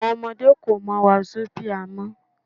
Àwọn ọmọdé kò mọ Wásóbià mọ́